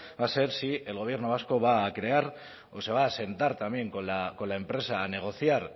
va a ser si el gobierno vasco va a crear o se va a sentar también con la empresa a negociar